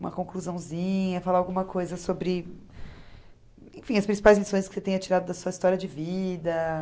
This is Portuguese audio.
Uma conclusãozinha, falar alguma coisa sobre... Enfim, as principais lições que você tenha tirado da sua história de vida.